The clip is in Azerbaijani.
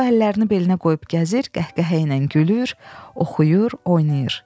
O əllərini belinə qoyub gəzir, qəhqəhə ilə gülür, oxuyur, oynayır.